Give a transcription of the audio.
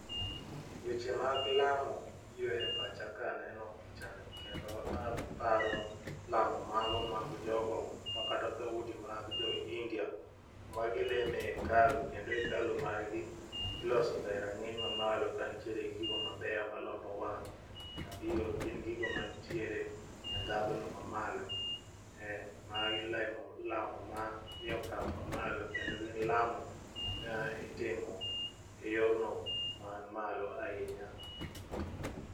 Weche mag lamo biro e pacha ka aneno pichani kendo aparo lamo mago mag jogo makata dhoudi mag jo India ma gilemo e ekalu kendo ekalu margi ilosoga e rang'iny mamalo kantiere gi gigo mabeyo malombo wang'. Gin gigo mantiere e ndhadhuno mamalo magi lamo mani okang' mamalo kendo gin lamo ma itimo e yorno man malo ahinya.